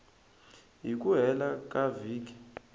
hi ku hela ka vhiki